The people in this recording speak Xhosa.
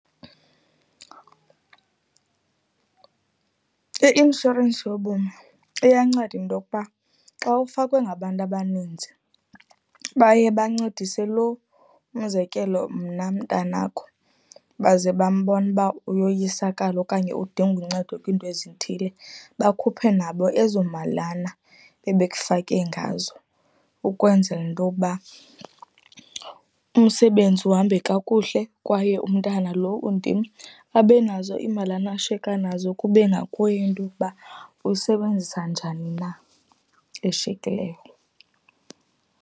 I-inshorensi yobomi iyanceda into yokuba xa ufakwe ngabantu abaninzi, baye bancedise lo, umzekelo mna mntanakho, baze bambona nuba uyoyisakala okanye udinga uncedo kwiinto ezithile, bakhuphe nabo ezo malana bebekufake ngazo, ukwenzela into yoba umsebenzi uhambe kakuhle, kwaye umntana lo undim abe nazo imalana ashiyeka nazo kube ngakuye into yokuba uyisebenzisa njani na eshiyekileyo.